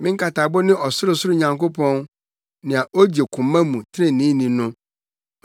Me nkatabo ne Ɔsorosoro Nyankopɔn nea ogye koma mu treneeni no.